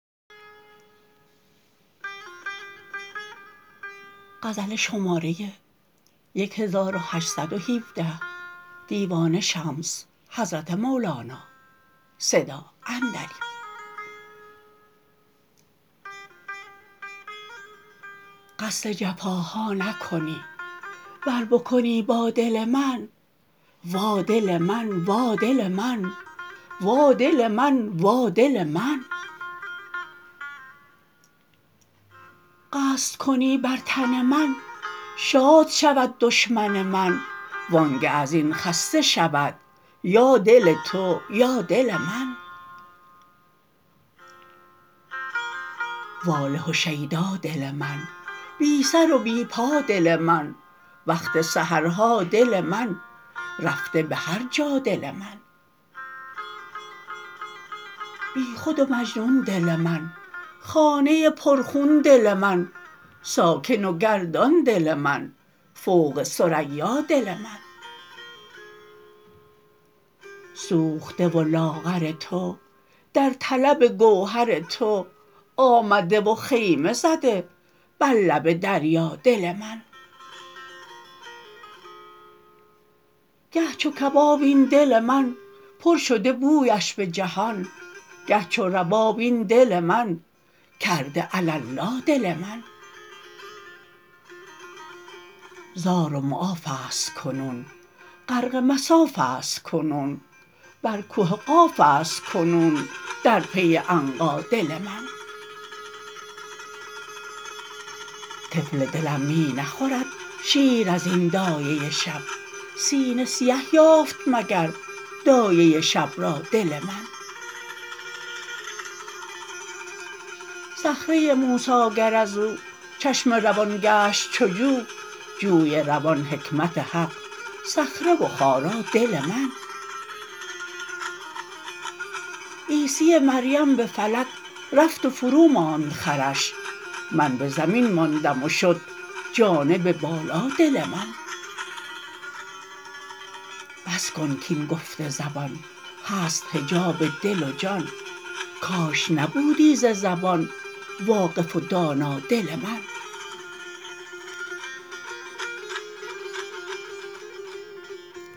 قصد جفاها نکنی ور بکنی با دل من وا دل من وا دل من وا دل من وا دل من قصد کنی بر تن من شاد شود دشمن من وانگه از این خسته شود یا دل تو یا دل من واله و شیدا دل من بی سر و بی پا دل من وقت سحرها دل من رفته به هر جا دل من بیخود و مجنون دل من خانه پرخون دل من ساکن و گردان دل من فوق ثریا دل من سوخته و لاغر تو در طلب گوهر تو آمده و خیمه زده بر لب دریا دل من گه چو کباب این دل من پر شده بویش به جهان گه چو رباب این دل من کرده علالا دل من زار و معاف است کنون غرق مصاف است کنون بر که قاف است کنون در پی عنقا دل من طفل دلم می نخورد شیر از این دایه شب سینه سیه یافت مگر دایه شب را دل من صخره موسی گر از او چشمه روان گشت چو جو جوی روان حکمت حق صخره و خارا دل من عیسی مریم به فلک رفت و فروماند خرش من به زمین ماندم و شد جانب بالا دل من بس کن کاین گفت زبان هست حجاب دل و جان کاش نبودی ز زبان واقف و دانا دل من